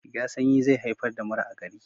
Shiga sanyi zai haifar da mura a gari